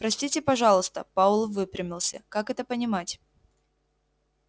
простите пожалуйста пауэлл выпрямился как это понимать